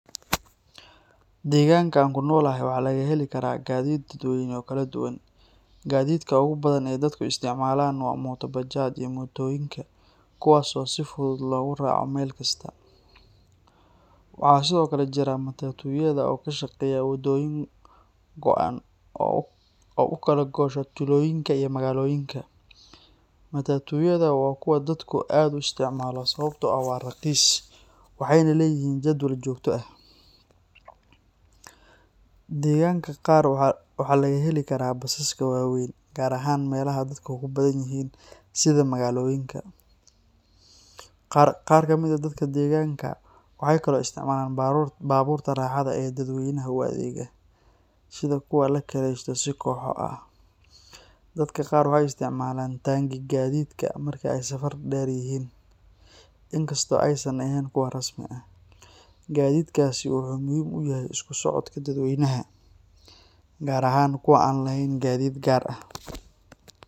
Deegaanka aan ku noolahay waxaa laga heli karaa gaadiid dadweyne oo kala duwan. Gaadiidka ugu badan ee dadku isticmaalaan waa mooto bajaaj iyo mootooyinka, kuwaas oo si fudud loogu raaco meel kasta. Waxaa sidoo kale jira matatu-yada oo ka shaqeeya waddooyin go'an oo u kala goosha tuulooyinka iyo magaalooyinka. Matatu-yadu waa kuwo dadku aad u isticmaalo sababtoo ah waa raqiis, waxayna leeyihiin jadwal joogto ah. Deegaanka qaar waxaa laga heli karaa basaska waaweyn, gaar ahaan meelaha dadku ku badan yihiin sida magaalooyinka. Qaar ka mid ah dadka deegaanka waxay kaloo isticmaalaan baabuurta raaxada ee dadweynaha u adeega, sida kuwa la kiraysto si kooxo ah. Dadka qaar waxay isticmaalaan taangi-gaadiidka marka ay safar dheer yihiin, inkastoo aysan ahayn kuwo rasmi ah. Gadiidkaasi wuxuu muhiim u yahay isku socodka dadweynaha, gaar ahaan kuwa aan lahayn gaadiid gaar ah